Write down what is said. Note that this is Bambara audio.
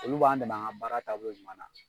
Olu b'an dɛmɛ an ka baara taabolo jumɛn na.